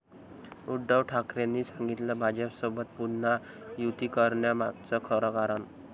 उद्धव ठाकरेंनी सांगितलं भाजपसोबत पुन्हा युती करण्यामागचं खरं कारण!